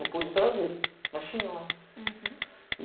Não pude trazer, mas tinha lá. Uhum. E